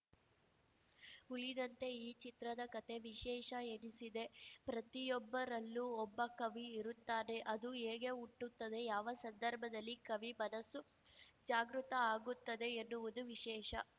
ಉಳಿದಂತೆ ಈ ಚಿತ್ರದ ಕತೆ ವಿಶೇಷ ಎನಿಸಿದೆ ಪ್ರತಿಯೊಬ್ಬರಲ್ಲೂ ಒಬ್ಬ ಕವಿ ಇರುತ್ತಾನೆ ಅದು ಹೇಗೆ ಹುಟ್ಟುತ್ತದೆ ಯಾವ ಸಂದರ್ಭದಲ್ಲಿ ಕವಿ ಮನಸ್ಸು ಜಾಗೃತ ಆಗುತ್ತದೆ ಎನ್ನುವುದು ವಿಶೇಷ